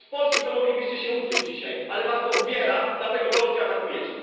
Od Polski to moglibyście się uczyć dzisiaj, ale was to uwiera, dlatego Polskę atakujecie.